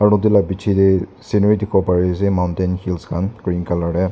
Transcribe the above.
etu la bichi dae scenery dikipo pari asae mountains hills khan green colour dae.